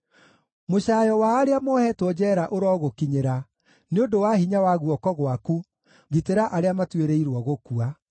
Mũcaayo wa arĩa moohetwo njeera ũrogũkinyĩra; nĩ ũndũ wa hinya wa guoko gwaku gitĩra arĩa matuĩrĩirwo gũkua.